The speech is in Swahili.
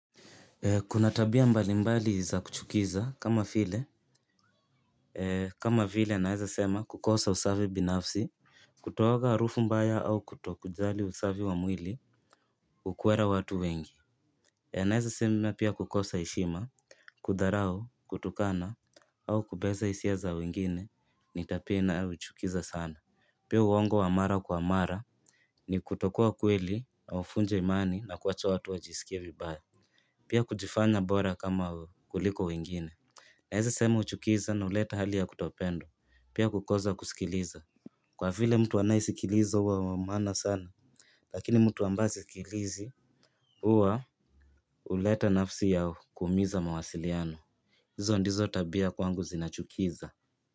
Kuna tabia mbalimbali za kuchukiza kama vile kama vile naweza sema kukosa usafi binafsi, kutooga harufu mbaya au kutokujali usafi wa mwili. Hukwera watu wengi. Naweza sema pia kukosa heshima, kudharau, kutukana au kubeza hisia za wengine, ni tabia inayochukiza sana. Pia uongo wa mara kwa mara ni kutokuwa kweli na uvunje imani na kuacha watu wajisikie vibaya. Pia kujifanya bora kama kuliko wengine. Naweza sema huchukiza na huleta hali ya kutopendwa. Pia kukoza kusikiliza. Kwa vile mtu anayesikiliza huwa wa maana sana. Lakini mtu ambaye hasikilizi huwa huleta nafsi ya kuumiza mawasiliano. Hizo ndizo tabia kwangu zinachukiza.